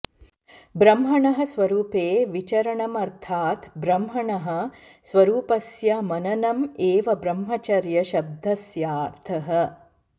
ब्रह्मणः स्वरूपे विचरणमर्थात् ब्रह्मणः स्वरूपस्य मननम् एव ब्रह्मचर्य शब्दस्यार्थः